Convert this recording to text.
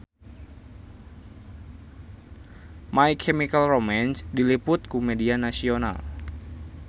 My Chemical Romance diliput ku media nasional